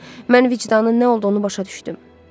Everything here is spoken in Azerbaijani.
Mən vicdanın nə olduğunu başa düşdüm.